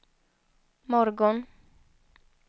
morgon